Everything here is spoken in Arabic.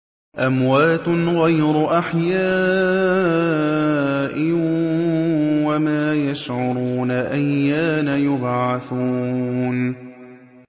أَمْوَاتٌ غَيْرُ أَحْيَاءٍ ۖ وَمَا يَشْعُرُونَ أَيَّانَ يُبْعَثُونَ